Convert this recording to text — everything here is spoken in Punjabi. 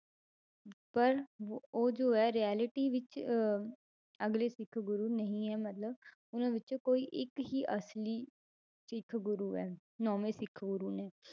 ਪਰ ਵ~ ਉਹ ਜੋ ਹੈ reality ਵਿੱਚ ਅਹ ਅਗਲੇ ਸਿੱਖ ਗੁਰੂ ਨਹੀਂ ਹੈ ਮਤਲਬ ਉਹਨਾਂ ਵਿੱਚੋਂ ਕੋਈ ਇੱਕ ਹੀ ਅਸਲੀ ਸਿੱਖ ਗੁਰੂ ਹੈ ਨੋਵੇਂ ਸਿੱਖ ਗੁਰੂ ਨੇ